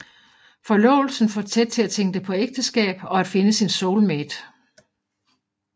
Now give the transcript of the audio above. Forlovelsen får Ted til at tænke på ægteskab og at finde sin soulmate